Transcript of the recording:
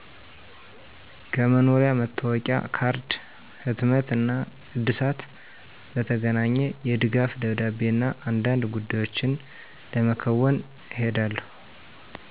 ከመኖሪያ መታወቂያ ካርድ ህትመት እና እድሳት በተገናኘ፣ የድጋፍ ደብዳቤ እና አንዳንድ ጉዳዮችን ለመከዎን እሄዳለሁ።